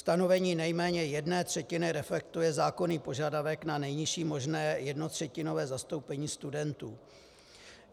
Stanovení nejméně jedné třetiny reflektuje zákonný požadavek na nejnižší možné - jednotřetinové - zastoupení studentů.